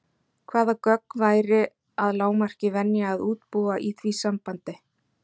Hvaða gögn væri að lágmarki venja að útbúa í því sambandi?